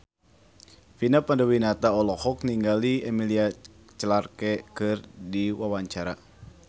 Vina Panduwinata olohok ningali Emilia Clarke keur diwawancara